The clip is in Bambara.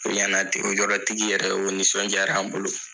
O ɲana ten o yɔrɔ tigi yɛrɛ o nisɔndiyara an bolo